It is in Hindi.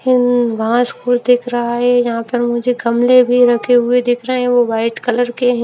आवाज को देख रहा है यहां पर मुझे गमले भी रखे हुए दिख रहे हैं। वह वाइट कलर के--